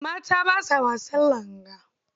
Mata ba sa wasan langa.